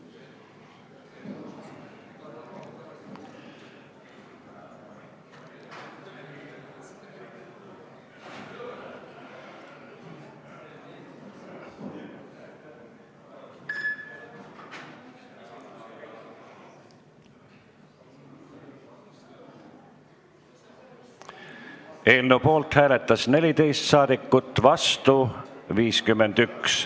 Hääletustulemused Eelnõu poolt hääletas 14 saadikut, vastu 51.